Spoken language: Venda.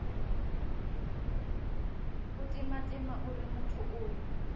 u timatima uri muthu uyo